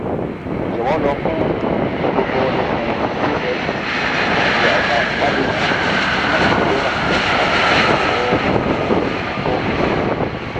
jọ̀wọ́ lọ fún um gbogbo ikùn usg àti àwọn ìwádìí mìíràn fún ìgbéléwọ̀n àrùn tó um tọ́